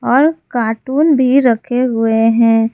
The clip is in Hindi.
और कार्टून भी रखे हुए हैं।